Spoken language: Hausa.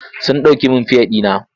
Sun ɗauke ɗauke min fiya ɗina.